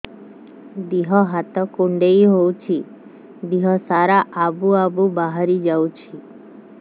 ଦିହ ହାତ କୁଣ୍ଡେଇ ହଉଛି ଦିହ ସାରା ଆବୁ ଆବୁ ବାହାରି ଯାଉଛି